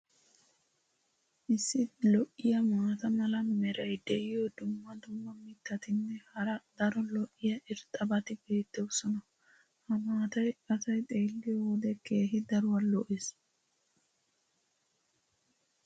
issi lo'iya maata mala meray diyo dumma dumma mitatinne hara daro lo'iya irxxabati beetoosona. ha maatay asay xeeliyo wode keehi daruwa lo'ees.